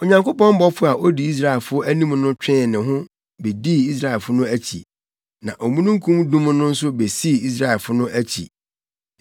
Onyankopɔn bɔfo a odi Israelfo anim no twee ne ho bedii Israelfo no akyi. Na omununkum dum no nso bedii Israelfo no akyi.